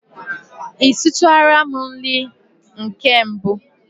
I sitụrụla m nri nke mbụ?